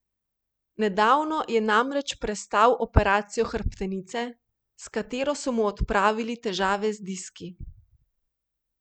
Nedavno je namreč prestal operacijo hrbtenice, s katero so mu odpravili težave s diski.